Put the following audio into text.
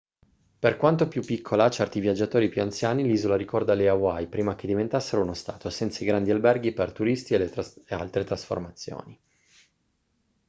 per quanto più piccola a certi viaggiatori più anziani l'isola ricorda le hawaii prima che diventassero uno stato senza i grandi alberghi per turisti e le altre trasformazioni